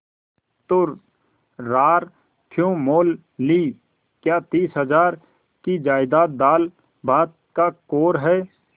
तो रार क्यों मोल ली क्या तीस हजार की जायदाद दालभात का कौर है